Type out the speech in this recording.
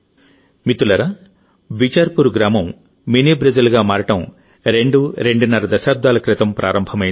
మిత్రులారాబిచార్పూర్ గ్రామం మినీ బ్రెజిల్గా మారడం రెండు రెండున్నర దశాబ్దాల క్రితం ప్రారంభమైంది